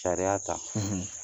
Sariya ta